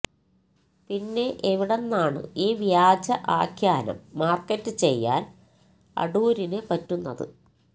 പിന്നെ എവിടെന്നാണ് ഈ വ്യാജ ആഖ്യാനം മാർക്കറ്റ് ചെയ്യാൻ അടൂരിന് പറ്റുന്നത്